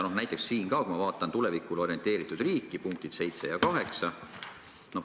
Ma vaatan osa "Tulevikule orienteeritud riik" punkte 7 ja 8.